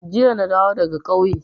Jiya na dawo daga ƙauye.